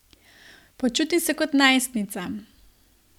Počutim se kot najstnica.